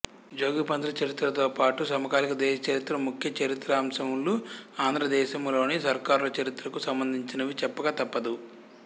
జోగిపంతులు చరిత్రతోపాటు సమకాలీక దేశచరిత్ర ముఖ్య చరిత్రాంశములు ఆంధ్రదేశము లోని సర్కారుల చరిత్రకు సంబంధించినవి చెప్పక తప్పదు